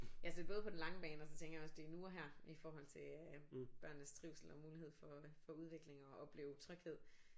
Ja så det både på den lange bane og så tænker jeg også det er nu og her i forhold til øh børnenes trivsel og mulighed for at få udvikling og opleve tryghed